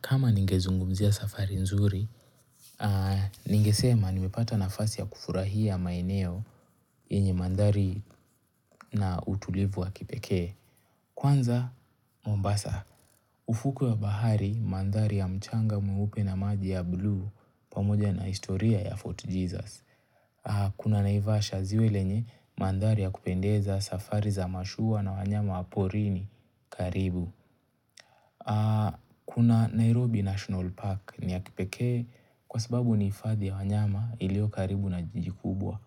Kama ningezungumzia safari nzuri, ningesema nimepata nafasi ya kufurahia maeneo yenye mandhari na utulivu wa kipekee. Kwanza, Mombasa. Ufuku ya bahari, mandhari ya mchanga mweupe na maji ya buluu pamoja na historia ya Fort Jesus. Kuna naivasha ziwe lenye mandhari ya kupendeza safari za mashuwa na wanyama wa porini karibu. Kuna Nairobi National Park ni ya kipekee kwa sababu ni hifadhi ya wanyama iliyo karibu na jiji kubwa